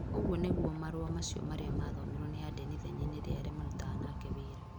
Ũguo nĩguo marũa macio marĩa mathomirwo nĩ Aden ithenya-inĩ rĩa arĩa marutaga nake wĩra.